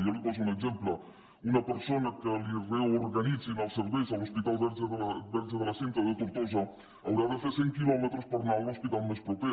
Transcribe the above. jo li poso un exemple una persona a qui li reorganitzin els serveis a l’hospital verge de la cinta de tortosa haurà de fer cent quilòmetres per anar a l’hospital més proper